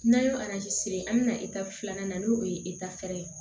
N'an ye siri an bɛ na filanan n'o ye ye